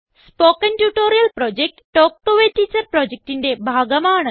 spoken tutorial project talk to a teacher പ്രൊജക്റ്റിന്റെ ഭാഗമാണ്